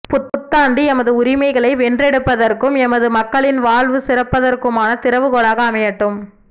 புத்தாண்டு எமது உரிமைகளை வென்றெடுப்பதற்கும் எமது மக்களின் வாழ்வு சிறப்பதற்குமான திறவுகோலாக அமையட்டும்